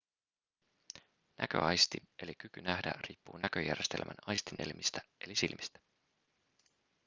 näköaisti eli kyky nähdä riippuu näköjärjestelmän aistielimistä eli silmistä